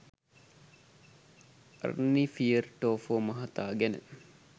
Arnie Fjortoft මහතා ගැන